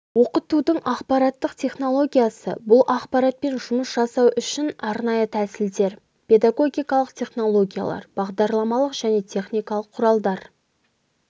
оқытудың ақпараттық технологиясы бұл ақпаратпен жұмыс жасау үшін арнайы тәсілдер педагогикалық технологиялар бағдарламалық және техникалық құралдар